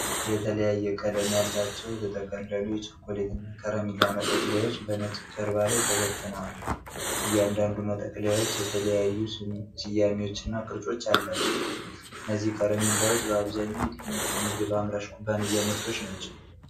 የተለያየ ቀለም ያላቸው፣ የተጠቀለሉ የቾኮሌትና የከረሜላ መጠቅለያዎች በነጭ ጀርባ ላይ ተበትነዋል። እያንዳንዱ መጠቅለያዎች የተለያዩ ስያሜዎችና ቅርጾች አሏቸው። እነዚህ ከረሜላዎች በአብዛኛው የየትኞቹ የምግብ አምራች ኩባንያ ምርቶች ናቸው?